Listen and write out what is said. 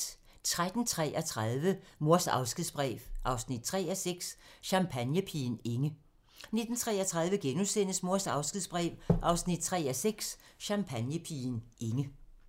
13:33: Mors afskedsbrev 3:6 – Champagnepigen Inge 19:33: Mors afskedsbrev 3:6 – Champagnepigen Inge *